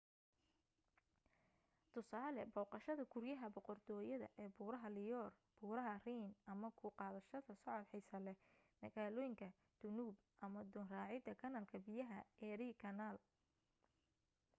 tusaale booqashada guryaha boqortooyada ee buraha loire buraha rhine ama ku qaadashada socod xiiso leh magaalooyinka danube ama doon racida kanaalka biyaha erie canal